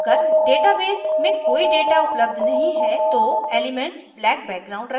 अगर database में कोई data उपलब्ध नहीं है तो एलीमेन्ट्स black background रखेंगे